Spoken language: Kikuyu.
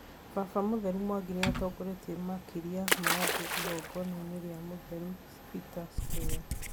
Baba mũtheru Mwangi nĩatongoretie makiri ma andũ igongona-inĩ St Peter's Square